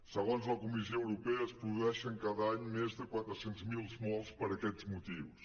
segons la comissió europea es produeixen cada any més de quatre cents miler morts per aquests motius